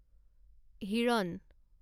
হিৰণ